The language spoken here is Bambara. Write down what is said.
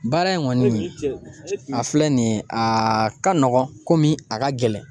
Baara in kɔni a filɛ nin ye a ka nɔgɔn komi a ka gɛlɛn.